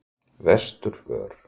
Vesturvör